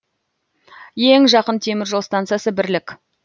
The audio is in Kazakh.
ең жақын темір жол стансасы бірлік